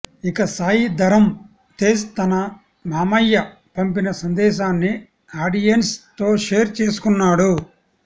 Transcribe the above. ఇక సాయి ధరమ్ తేజ్ తన మమ్మయ్య పంపిన సందేశాన్ని ఆడియెన్స్ తో షేర్ చేసుకున్నాడు